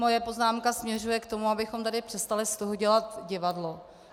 Moje poznámka směřuje k tomu, abychom tady přestali z toho dělat divadlo.